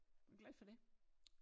Er du glad for det?